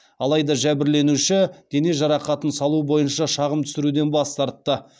алайда жәбірленуші дене жарақатын салу бойынша шағым түсіруден бас тартты